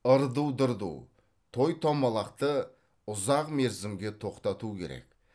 ырду дырду той томалақты ұзақ мерзімге тоқтату керек